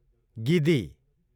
गिदी